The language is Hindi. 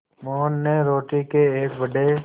मोहन ने रोटी के एक बड़े